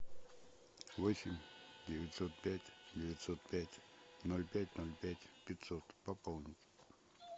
восемь девятьсот пять девятьсот пять ноль пять ноль пять пятьсот пополнить